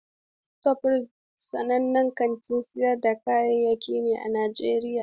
Shofrayit sanannen kantin sayar da kayayyaki ne a Najeriya.